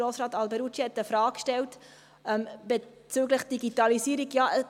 Grossrat Alberucci hat eine Frage bezüglich Digitalisierung gestellt.